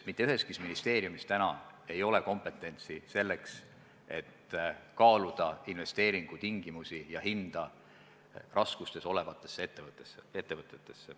Mitte üheski ministeeriumis ei ole kompetentsi selleks, et kaaluda investeeringutingimusi ja -hinda raskustes olevate ettevõtete puhul.